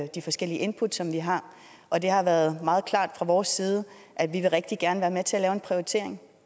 de forskellige input som vi har og det har været meget klart fra vores side at vi rigtig gerne til at lave en prioritering